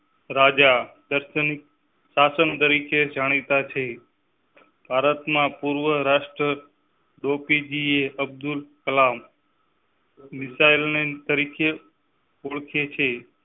રાજા દર્શન શાસન તરીકે જાણીતા છે. ભારત માં પૂર્વ રાષ્ટ્રપતિ APJ Abdul Kalam. Missile man તરીકે ઓળખે છે.